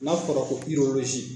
N'a fɔra ko